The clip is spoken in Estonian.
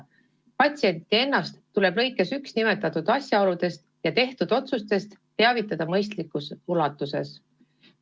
Patsienti ennast tuleb lõikes 1 nimetatud asjaoludest ja tehtud otsustest teavitada mõistlikus ulatuses.